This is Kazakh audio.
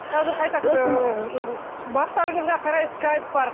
қазір қайта бақтарыңызға қарай скайп бар